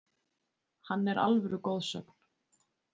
Hann er alvöru goðsögn,